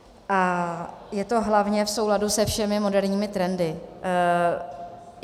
A je to hlavně v souladu se všemi moderními trendy.